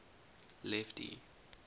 lefty